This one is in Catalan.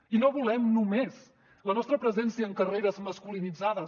i no volem només la nostra presència en carreres masculinitzades